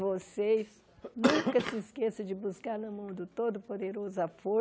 Vocês nunca se esqueçam de buscar na mão do Todo-Poderoso a